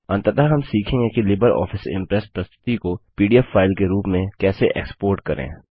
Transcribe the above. अंततः हम सीखेंगे कि लिबर ऑफिस इंप्रेस प्रस्तुति को पीडीएफ फाइल के रूप में कैसे एक्स्पोर्ट करें